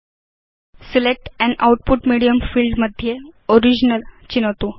select अन् output medium field मध्ये original चिनोतु